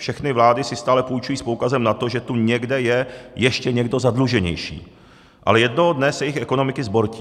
Všechny vlády si stále půjčují s poukazem na to, že tu někde je ještě někdo zadluženější, ale jednoho dne se jejich ekonomiky zbortí.